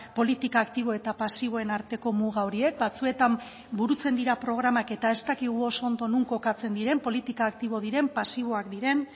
politika aktibo eta pasiboen arteko muga horiek batzuetan burutzen dira programak eta ez dakigu oso ondo non kokatzen diren politika aktibo diren pasiboak diren